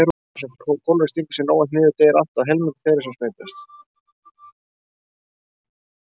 Þar sem kólera stingur sér óvænt niður deyr allt að helmingur þeirra sem smitast.